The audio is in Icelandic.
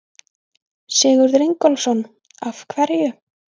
Sigurður Ingólfsson: Af hverju?